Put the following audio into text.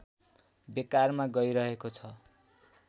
बेकारमा गइरहेको छ